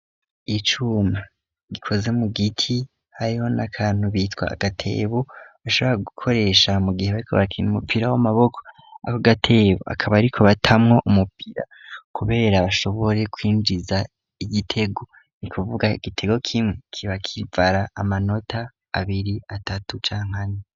Icuma gikoze mu giti hariho n'akantu bitwa agatebo .bashobora gukoresha mu gihe bariko bakina umupira w'amaboko. Ako gatebo akaba ariko batamwo umupira kubera bashobore kwinjiza igitego ni kuvuga igitego k'imwe kibakivara amanota abiri atatu canke ane.